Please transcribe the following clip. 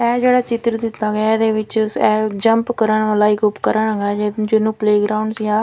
ਇਹ ਜਿਹੜਾ ਚਿੱਤਰ ਦਿੱਤਾ ਗਿਆ ਇਹਦੇ ਵਿੱਚ ਇਹ ਜੰਪ ਕਰਨ ਵਾਲਾ ਇੱਕ ਉਪਕਰਨ ਹੈਗਾ ਜਿਹਨੂੰ ਪਲੇ ਗਰਾਉਂਡ ਜਾਂ--